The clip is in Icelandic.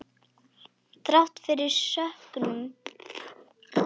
Þrátt fyrir söknuð.